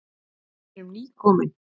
Við erum nýkomin.